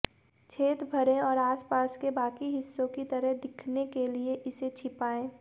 छेद भरें और आसपास के बाकी हिस्सों की तरह दिखने के लिए इसे छिपाएं